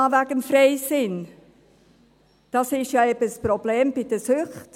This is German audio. Noch zum Freisinn: Das ist ja eben das Problem bei den Süchten!